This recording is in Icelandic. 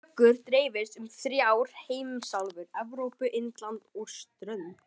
Tökur dreifðust um þrjár heimsálfur- Evrópu, Indland og strönd